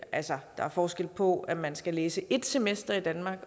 altså der er forskel på om man skal læse et semester danmark